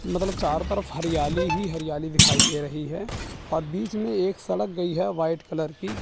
मतलब चारों तरफ हरियाली ही हरियाली दिखाई दे रही है और बीच में एक सडक गई है वाइट कलर की--